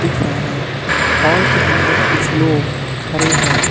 दिख रहा है हाल के अंदर कुछ लोग खड़े हैं।